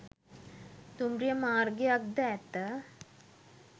දුම්රිය මාර්ගයක් ද ඇත